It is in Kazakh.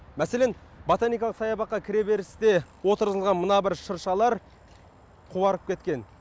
мәселен ботаникалық саябаққа кіре берісте отырғызылған мына бір шыршалар қуарып кеткен